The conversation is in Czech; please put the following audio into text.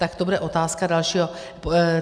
Tak to bude otázka dalšího...